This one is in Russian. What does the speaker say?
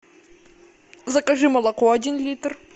закажи молоко один литр